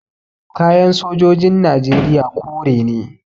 Kayan sojojin najeriya kore ne